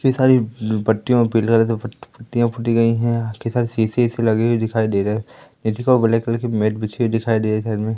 इतनी सारी उं पट्टियों पिलर सब पट-पट्टीय पट्टियों गई हैं सारे शीशे इसे लगे हुए दिखाई दे रहे हैं नीचे की ओर ब्लैक कलर की मैट बिछी हुई दिखाई दे रही साइड में --